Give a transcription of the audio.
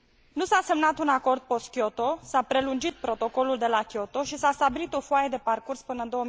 Nu s a semnat un acord post Kyoto, s a prelungit protocolul de la Kyoto și s a stabilit o foaie de parcurs până în